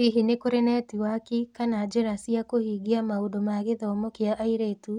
Hihi nĩ kũrĩ netiwaki/njĩra/njĩra cia kũhingia maũndũ ma gĩthomo kĩa airĩtu